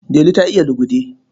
Delu ta iya lugude.